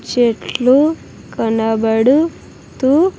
చెట్లు కనపడు తూ--